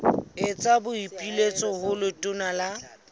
etsa boipiletso ho letona la